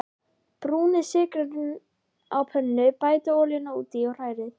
Brúnið sykurinn á pönnu, bætið olíunni út í og hrærið.